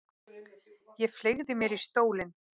Ég fleygi mér í stólinn.